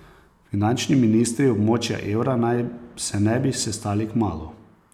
Finančni ministri območja evra naj se ne bi sestali kmalu.